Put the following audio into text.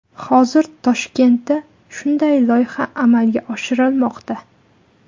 Hozir Toshkentda shunday loyiha amalga oshirilmoqda.